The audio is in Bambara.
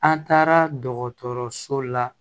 An taara dɔgɔtɔrɔso la